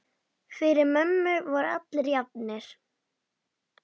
Fyrir mömmu voru allir jafnir.